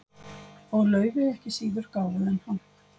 Og Laufey er ekki síður gáfuð en hann.